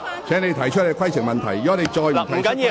請你提出規程問題，否則便請坐下。